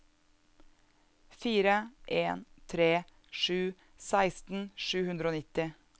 fire en tre sju seksten sju hundre og nitti